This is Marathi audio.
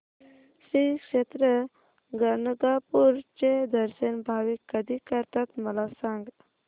श्री क्षेत्र गाणगापूर चे दर्शन भाविक कधी करतात मला सांग